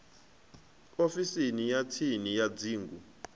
ofisini ya tsini ya dzingu